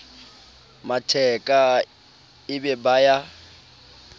matheka e be ba ya